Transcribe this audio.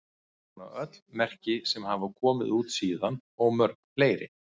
Hún á öll merki sem hafa komið út síðan og mörg fleiri.